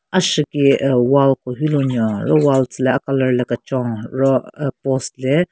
Ashiki aah wall ko hyu lunyo ro wall tsü le a colour le kechon ro aa post le--